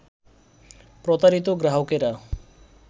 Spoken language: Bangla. প্রতারিত গ্রাহকেরা